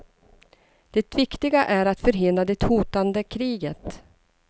Det viktiga är att förhindra det hotande kriget.